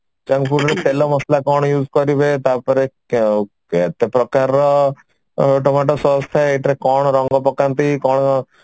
junk food ରେ ତେଲ ମସଲା କଣ use କରିବେ ତାପରେ କେତେ କେତେ ପ୍ରକାରର ଟମାଟୋ sauce ଥାଏ ଏଇଟାରେ କଣ ରଙ୍ଗ ପକାନ୍ତି କଣ